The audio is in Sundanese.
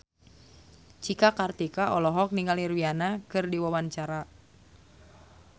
Cika Kartika olohok ningali Rihanna keur diwawancara